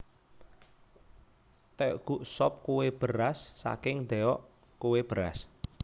Tteokguk sop kue beras saking ddeok kue beras